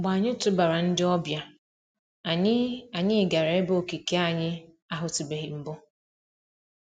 Mgbe anyị tụbara ndị ọbịa, anyị anyị gara ebe okike anyị ahụtụbeghị mbụ.